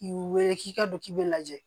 K'u wele k'i ka don k'i bɛ lajɛ